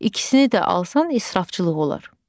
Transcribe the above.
İkisini də alsan israfçılıq olar.